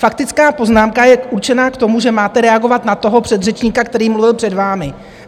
Faktická poznámka je určená k tomu, že máte reagovat na toho předřečníka, který mluvil před vámi.